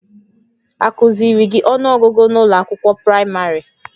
Akụ́ziiri gị ọnụọgụgụ n'ụlọ akwụkwọ praịmarị?